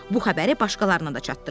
Bu xəbəri başqalarına da çatdırım.